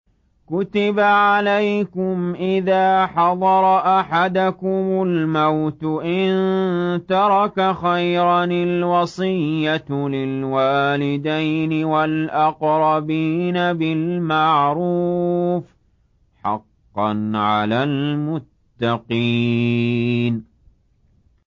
كُتِبَ عَلَيْكُمْ إِذَا حَضَرَ أَحَدَكُمُ الْمَوْتُ إِن تَرَكَ خَيْرًا الْوَصِيَّةُ لِلْوَالِدَيْنِ وَالْأَقْرَبِينَ بِالْمَعْرُوفِ ۖ حَقًّا عَلَى الْمُتَّقِينَ